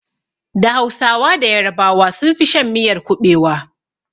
Da hausawa da yarabawa sun fi shan miyar kuɓewa